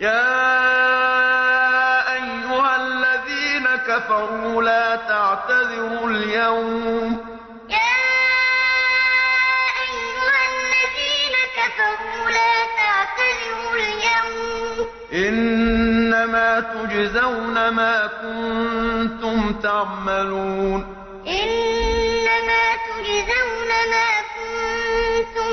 يَا أَيُّهَا الَّذِينَ كَفَرُوا لَا تَعْتَذِرُوا الْيَوْمَ ۖ إِنَّمَا تُجْزَوْنَ مَا كُنتُمْ تَعْمَلُونَ يَا أَيُّهَا الَّذِينَ كَفَرُوا لَا تَعْتَذِرُوا الْيَوْمَ ۖ إِنَّمَا تُجْزَوْنَ مَا كُنتُمْ